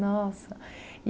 Nossa!